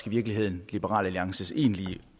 virkeligheden liberal alliances egentlige